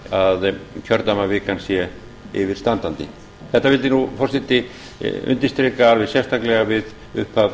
að kjördæmavikan sé yfirstandandi þetta vildi forseti undirstrika alveg sérstaklega við upphaf